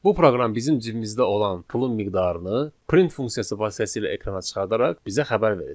Bu proqram bizim cibimizdə olan pulun miqdarını print funksiyası vasitəsilə ekrana çıxardaraq bizə xəbər verəcək.